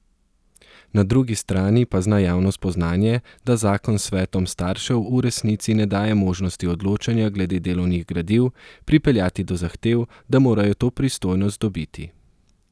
Na drugi strani pa zna javno spoznanje, da zakon svetom staršev v resnici ne daje možnosti odločanja glede delovnih gradiv, pripeljati do zahtev, da morajo to pristojnost dobiti.